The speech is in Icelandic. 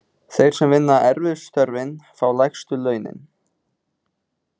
Þeir sem vinna erfiðustu störfin fá lægstu launin.